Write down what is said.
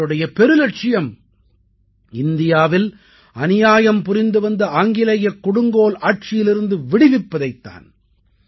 அவருடைய பெருலட்சியம் இந்தியாவில் அநியாயம் புரிந்து வந்த ஆங்கிலேயக் கொடுங்கோல் ஆட்சியிலிருந்து விடுவிப்பது தான்